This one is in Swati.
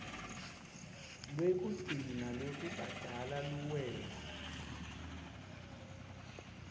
lwekugcina lwekubhadala luwela